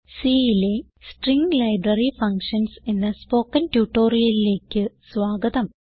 Cലെ string library functions എന്ന spoken ട്യൂട്ടോറിയലിലേക്ക് സ്വാഗതം